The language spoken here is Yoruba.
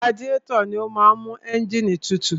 Radiétọ̀ ni ó máa ń mú ẹ́ǹgìnì tutù.